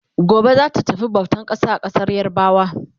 Gobe zata tafi bautan ƙasa a ƙasar yarabawa